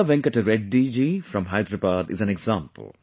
Chintala Venkat Reddy ji from Hyderabad is an example